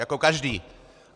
Jako každý!